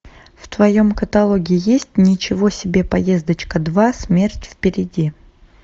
в твоем каталоге есть ничего себе поездочка два смерть впереди